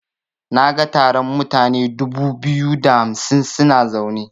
Naga taron mutane dubu biyu da hamsin suna zaune.